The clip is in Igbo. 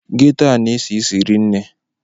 Ghetto a na-esi isi ri nne.